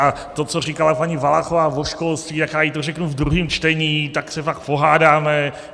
A to, co říkala paní Valachová o školství, tak já jí to řeknu ve druhém čtení, tak se pak pohádáme.